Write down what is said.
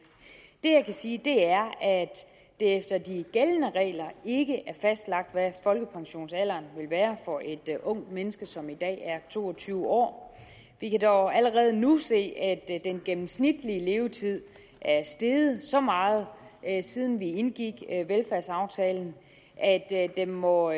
jeg kan sige er at det efter de gældende regler ikke er fastlagt hvad folkepensionsalderen vil være for et ungt menneske som i dag er to og tyve år vi kan dog allerede nu se at den gennemsnitlige levetid er steget så meget siden vi indgik velfærdsaftalen at den må